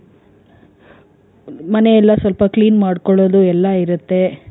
ಮನೆ ಎಲ್ಲ ಸ್ವಲ್ಪ clean ಮಾಡ್ಕೊಳೋದು ಎಲ್ಲಾ ಇರತ್ತೆ.